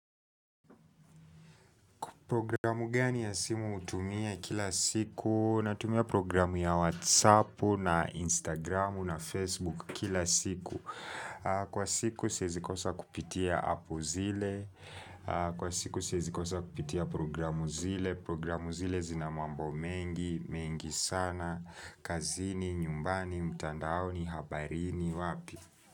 Programu gani ya simu utumia kila siku Natumia programu ya WhatsAppu na Instagramu na Facebook kila siku Kwa siku siezi kosa kupitia apu zile Kwa siku siezi kosa kupitia programu zile Programu zile zina mambo mengi, mengi sana kazini, nyumbani, mtandaoni, habarini, wapi.